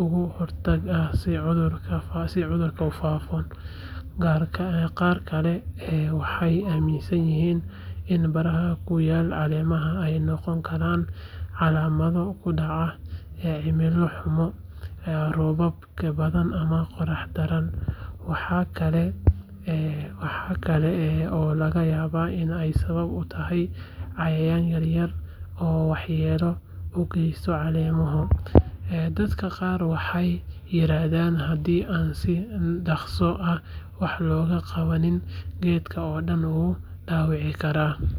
uga hortagaan in cudurku faafo. Qaar kale waxay aaminsan yihiin in baraha ku yaal caleemaha ay noqon karaan calaamado ka dhashay cimilo xumo, roobab badan ama qorax daran. Waxaa kale oo laga yaabaa in ay sabab u tahay cayayaan yaryar oo waxyeello u geysta caleemaha. Dadka qaar waxay yiraahdaan haddii aan si dhakhso ah wax looga qabanin, geedka oo dhan wuu dhaawacmi karaa.